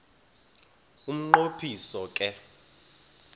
umnqo phiso ke